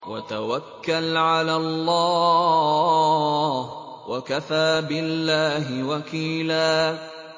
وَتَوَكَّلْ عَلَى اللَّهِ ۚ وَكَفَىٰ بِاللَّهِ وَكِيلًا